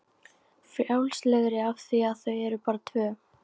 Frjálslegri af því að þau eru bara tvö.